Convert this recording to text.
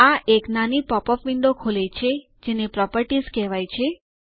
આ એક નાની પોપઅપ વિન્ડો ખોલે છે જેને પ્રોપર્ટીઝ કહેવાય છે